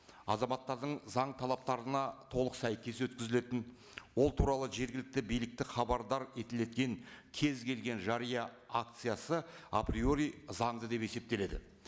азаматтардың заң талаптарына толық сәйкес өткізілетін ол туралы жергілікті билікті хабардар кез келген жария акциясы априори заңды деп есептеледі